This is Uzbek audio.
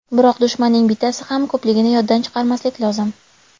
Biroq dushmanning bittasi ham ko‘pligini yoddan chiqarmaslik lozim.